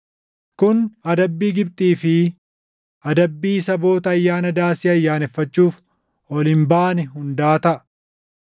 Kun adabbii Gibxii fi adabbii saboota Ayyaana Daasii ayyaaneffachuuf ol hin baane hundaa taʼa.